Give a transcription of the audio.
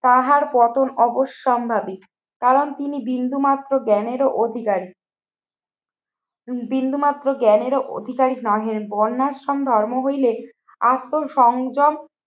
তাহার পতন অবশ্যম্ভাবী কারণ তিনি বিন্দুমাত্র জ্ঞানেরও অধিকারী। বিন্দুমাত্র জ্ঞানেরও অধিকারী নাহের বর্ণাশ্রম ধর্ম হইলে আত্ম সংযম